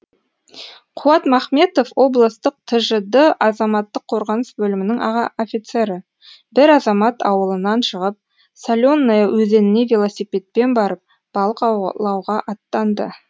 қуат махметов облыстық тжд азаматтық қорғаныс бөлімінің аға офицері бір азамат ауылынан шығып соленное өзеніне велосипедпен барып балық аулауға аттанды